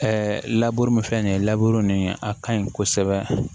laburu min filɛ nin ye nin a ka ɲi kosɛbɛ